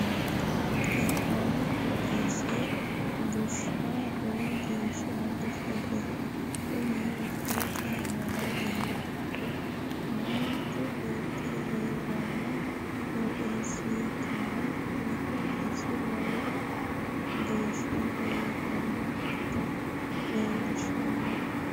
Hee'nanni qooxeesi busha lowo geesha bushate kunni misilete aanna la'neemohu manchi beeti heerano qooxeessa ikkanna kunni qooxeesi luwo geesha biifinokita leelishano.